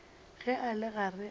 ge a le gare a